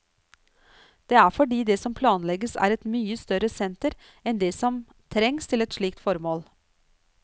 Det er fordi det som planlegges er et mye større senter enn det som trengs til et slikt formål.